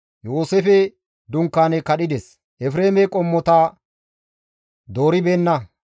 Yooseefe dunkaane kadhides; Efreeme qommota dooribeenna.